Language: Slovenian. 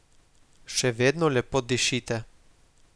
Še vedno lepo dišite.